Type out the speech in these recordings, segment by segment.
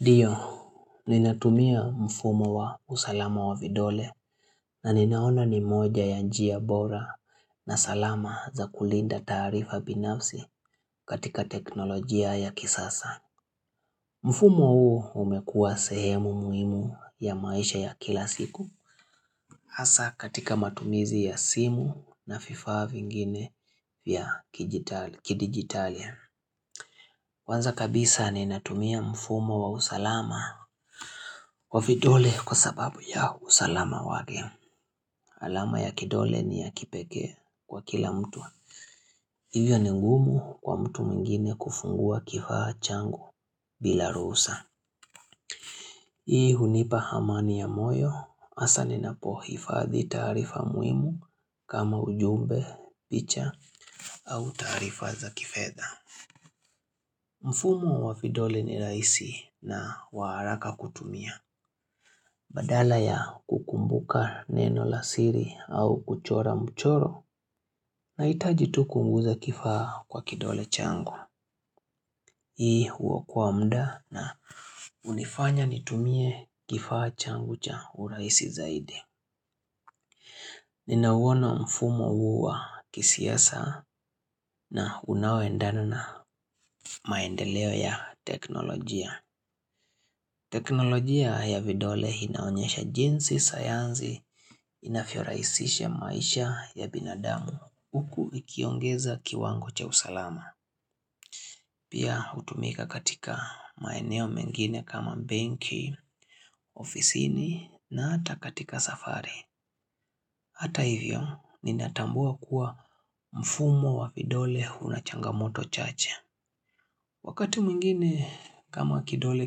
Ndio, ninatumia mfumo wa usalama wa vidole na ninaona ni moja ya njia bora na salama za kulinda taarifa binafsi katika teknolojia ya kisasa. Mfumo huo umekuwa sehemu muhimu ya maisha ya kila siku. Hasa katika matumizi ya simu na vifaa vingine vya kidigitalia. Kwanza kabisa ni natumia mfumo wa usalama wavidole kwa sababu ya usalama wake. Alama ya kidole ni ya kipeke kwa kila mtu. Hivyo ni ngumu kwa mtu mwingine kufungua kifaa changu bila ruhusa. Hii hunipa amani ya moyo, hasa ninapohifadhi tarifa muhimu kama ujumbe, picha au tarifa za kifedha. Mfumo wa vidole ni rahisi na wa haraka kutumia. Badala ya kukumbuka neno la siri au kuchora mchoro na nahitajitu kuguza kifaa kwa kidole changu. Hii huokowa mda na unifanya nitumie kifaa changu cha u raisi zaidi. Ninauona mfumo huu wa kisiasa na unaoendana na maendeleo ya teknolojia. Teknolojia ya vidole inaonyesha jinsi sayansi inavyorahisisha maisha ya binadamu huku ikiongeza kiwango cha usalama. Pia hutumika katika maeneo mengine kama banki, ofisini na hata katika safari. Hata hivyo ninatambua kuwa mfumo wa vidole unachangamoto chache. Wakati mwingine kama kidole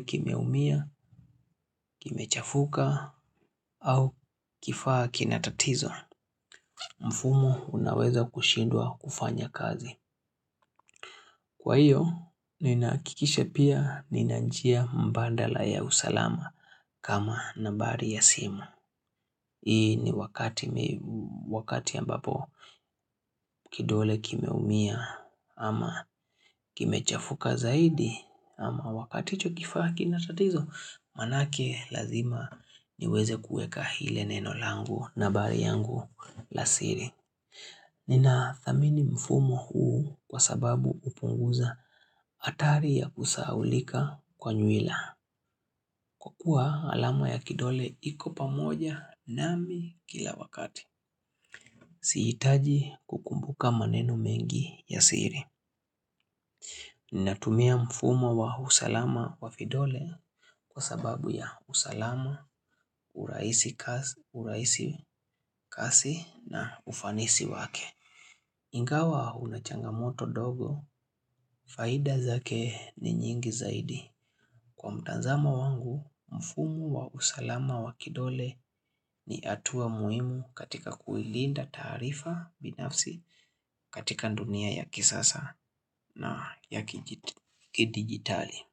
kimeumia, kimechafuka au kifaa kinatatizo, mfumo unaweza kushindwa kufanya kazi. Kwa hiyo, ninahakikisha pia nina njia mbandala ya usalama kama nambari ya simu. Hii ni wakati ambapo kidole kimeumia ama kimechafuka zaidi ama wakati hicho kifaa kina tatizo manake lazima niweze kuweze ile neno langu na bari yangu lasiri. Nina thamini mfumo huu kwa sababu hupunguza athari ya kusahaulika kwa nywila. Kwa kuwa alama ya kidole iko pamoja nami kila wakati. Sihitaji kukumbuka maneno mengi ya siri. Ninatumia mfumo wa usalama wa vidole kwa sababu ya usalama, uraisi kasi na ufanisi wake. Ingawa unachangamoto dogo, faida zake ni nyingi zaidi. Kwa mtanzamo wangu, mfumo wa usalama wa kidole ni hatua muhimu katika kuilinda tarifa binafsi katika dunia ya kisasa. Na, ya ki digitali.